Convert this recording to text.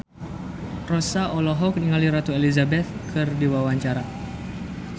Rossa olohok ningali Ratu Elizabeth keur diwawancara